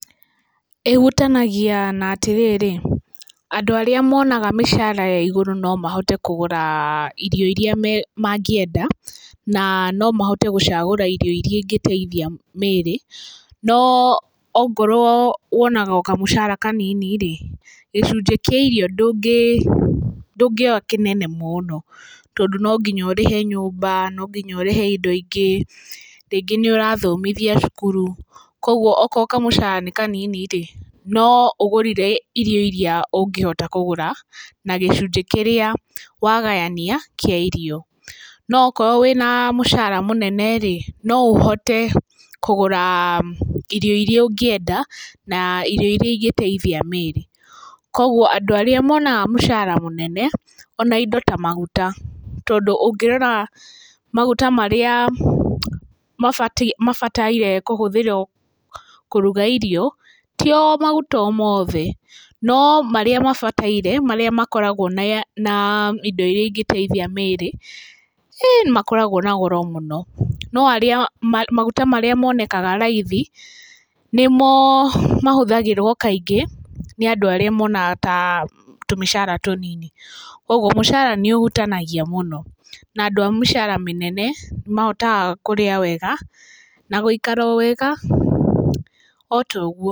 Ĩhutanagia na atĩrĩrĩ, andũ arĩa monaga mĩcara ya igũrũ no mahote kũgũra irio iria mangĩenda na no mahote gũcagũra irio iria ingĩteithia mĩrĩ.No ongorwo wonaga kamũcara kanini gĩcunjĩ kĩa irio ndũngĩoya kĩnene mũno tondũ no nginya ũrĩhe nyũmba, no nginya ũrĩhe indo ingĩ rĩngĩ nĩ ũrathomithia cukuru. Koguo akorwo kamũcara nĩ kanini-rĩ no ũgũrire irio iria ũngĩhota kũgũra na gĩcunjĩ kĩrĩa wagayania kĩa irio. No akorwo wĩna mũcara mũnene-rĩ no ũhote kũgũra irio iria ũngĩenda na irio iria ingĩteithia mĩrĩ. Koguo andũ arĩa monaga mũcara mũnene ona indo ta maguta tondũ ũngĩrora maguta marĩa mabatairwo kũruga irio ti o maguta o mothe, no marĩa mabataire no marĩa makoragwo na indo iria ingĩteithia mĩrĩ ĩ nĩmakoragwo na goro mũno. No maguta marĩa marĩ monekega raithi nĩmo mahũthagĩrwo kaingĩ nĩ andũ arĩa monaga tũmĩcara tũnini. Koguo mũcara nĩũhutanagia mũno, na andũ a mĩcara mĩnene nĩmahotaga kũrĩa wega na gũikara wega o ta ũguo.